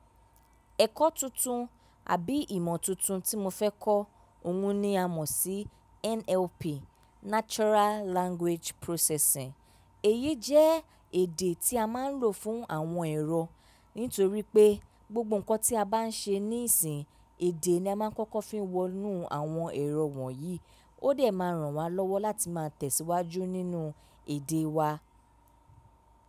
Ẹ̀kọ́ tuntun àbí ìmọ̀ tuntun tí mo fẹ́ kọ́ òun ni a mọ̀ sí NLP, Natural Language Processing. Èyí jẹ́ èdè tí a máa ń lò fún àwọn ẹ̀rọ nítorí pé gbogbo nǹkan tí a bá ń ṣe níìsín, èdè ni a máa ń kọ́kọ́ fi ń wọnú àwọn ẹ̀rọ wọ̀nyí. Ó dẹ̀ máa ràn wá lọ́wọ́ láti máa tẹ̀síwájú nínú èdè wa.